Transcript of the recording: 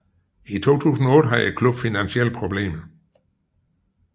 I 2008 havde klubben finansielle problemer